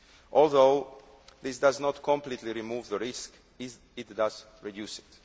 Although this does not completely remove the risk, it does reduce it.